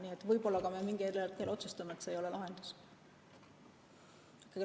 Nii et võib-olla me mingil hetkel otsustame, et see ei ole lahendus.